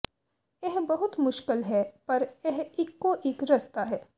ਇਹ ਬਹੁਤ ਮੁਸ਼ਕਲ ਹੈ ਪਰ ਇਹ ਇਕੋ ਇਕ ਰਸਤਾ ਹੈ